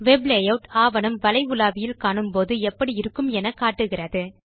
web layout ஆவணம் வலை உலாவியில் காணும் போது எப்படி இருக்கும் என காட்டுகிறது